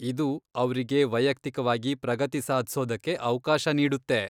ಇದು ಅವ್ರಿಗೆ ವೈಯಕ್ತಿಕವಾಗಿ ಪ್ರಗತಿ ಸಾಧ್ಸೋದಕ್ಕೆ ಅವ್ಕಾಶ ನೀಡುತ್ತೆ.